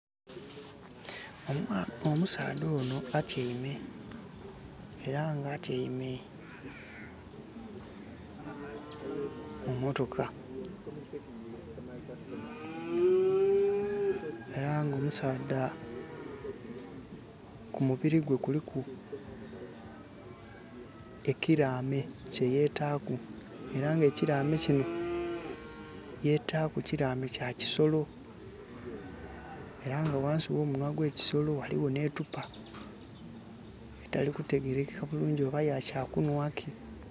Omusaadha ono atiame era nga atiame mu mmotoka era omusaadha kumubiri gwe kuliku ekirame kyeyetaaku era nga ekirame kino yetaaku kirame kya kisolo era nga wansi we kisolo waliwo ne ttupa etalikutegerekeka bulungi oba ya kya kunwaki?